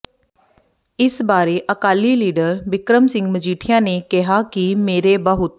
ਇਸ ਬਾਰੇ ਅਕਾਲੀ ਲੀਡਰ ਬਿਕਰਮ ਸਿੰਘ ਮਜੀਠੀਆ ਨੇ ਕਿਹਾ ਕਿ ਮੇਰੇ ਬਹੁਤ